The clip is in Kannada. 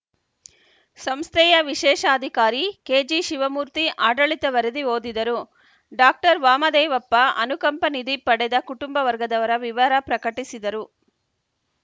ಸಂಸ್ಥೆಯ ವಿಶೇಷಾಧಿಕಾರಿ ಕೆಜಿಶಿವಮೂರ್ತಿ ಆಡಳಿತ ವರದಿ ಓದಿದರು ಡಾಕ್ಟರ್ ವಾಮದೇವಪ್ಪ ಅನುಕಂಪ ನಿಧಿ ಪಡೆದ ಕುಟುಂಬ ವರ್ಗದವರ ವಿವರ ಪ್ರಕಟಿಸಿದರು